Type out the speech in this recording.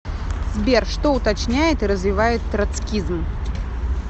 сбер что уточняет и развивает троцкизм